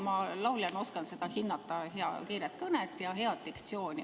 Ma lauljana oskan seda hinnata, kiiret kõnet ja head diktsiooni.